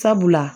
Sabula